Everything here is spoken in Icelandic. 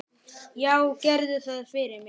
Já, gerðu það fyrir mig!